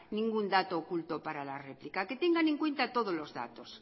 ningún dato oculto para la replica que tengan en cuenta todos los datos